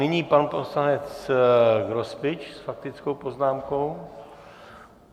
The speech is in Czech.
Nyní pan poslanec Grospič s faktickou poznámkou.